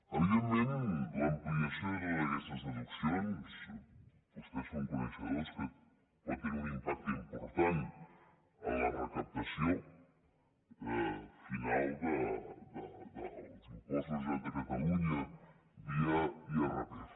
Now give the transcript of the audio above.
evidentment l’ampliació de totes aquestes deduccions vostès són coneixedors que pot tenir un impacte important en la recaptació final dels impostos de la generalitat de catalunya via irpf